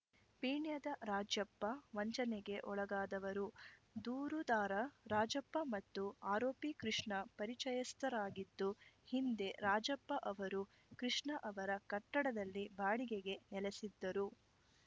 ಪೀಣ್ಯದ ರಾಜಪ್ಪ ವಂಚನೆಗೆ ಒಳಗಾದವರು ದೂರುದಾರ ರಾಜಪ್ಪ ಮತ್ತು ಆರೋಪಿ ಕೃಷ್ಣ ಪರಿಚಯಸ್ಥರಾಗಿದ್ದು ಹಿಂದೆ ರಾಜಪ್ಪ ಅವರು ಕೃಷ್ಣ ಅವರ ಕಟ್ಟಡದಲ್ಲಿ ಬಾಡಿಗೆಗೆ ನೆಲೆಸಿದ್ದರು